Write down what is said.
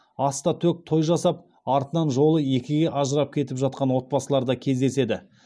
ас та төк той жасап артынан жолы екіге ажырап кетіп жатқан отбасылар да кездеседі